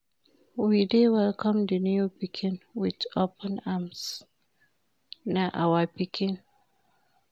We dey welcome di new pikin wit open arms, na our pikin.